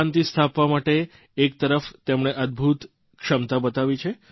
શાંતિ સ્થાપવા માટે એકતરફ તેમણે અદભૂત ક્ષમતા બતાવી છે